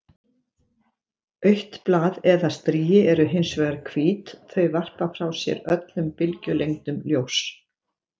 Autt blað eða strigi eru hins vegar hvít- þau varpa frá sér öllum bylgjulengdum ljóss.